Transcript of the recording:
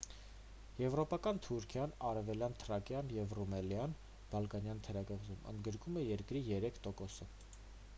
եվրոպական թուրքիան արևելյան թրակիան կամ ռումելիան՝ բալկանյան թերակղզում ընդգրկում է երկրի 3%-ը: